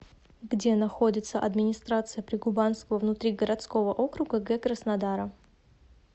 где находится администрация прикубанского внутригородского округа г краснодара